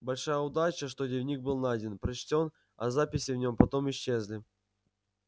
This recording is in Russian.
большая удача что дневник был найден прочтён а записи в нём потом исчезли